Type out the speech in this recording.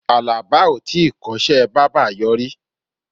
Àlàbá o tíi kọ́ṣẹ́ bábà yọrí.